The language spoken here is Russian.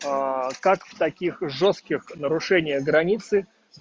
как в таких жёстких нарушение границы